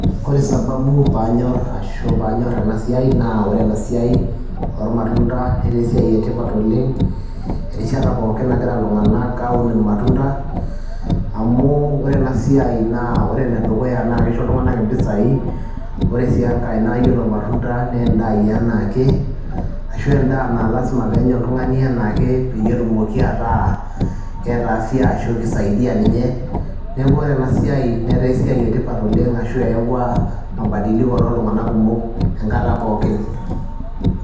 Kore sababu paanyor ashu paanyor ena siai naa ore ena siai ormatunda netaa esiai e tipat oleng' erishata pookin nagira iltung'anak aun irmatunda, amu ore ena siai naa ore ene dukuya naake isho iltung'anak impisai. Ore sii enkae naa iyiolo irmatunda nee indaai enaa ake ashu endaa naa lazima peenya oltung'ani enaake peyie etumoki ataa keeta afya ashu kisaidia ninye. Neeku ore ena siai netaa esiai e tipat oleng' ashu eewua mabadiliko ttoltung'anak kumok enkata pookin.